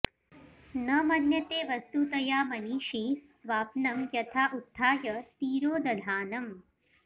न मन्यते वस्तुतया मनीषी स्वाप्नं यथा उत्थाय तिरोदधानम्